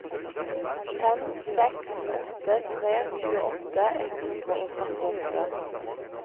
fem seks åtte tre tjueåtte ett hundre og trettiåtte